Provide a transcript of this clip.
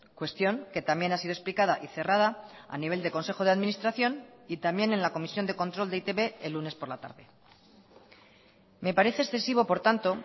cuestión que también ha sido explicada y cerrada a nivel de consejo de administración y también en la comisión de control de e i te be el lunes por la tarde me parece excesivo por tanto